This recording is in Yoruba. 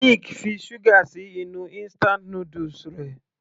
Nick fi sugar sí inú instant noodles rẹ̀.